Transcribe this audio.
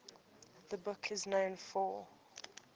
the book is known for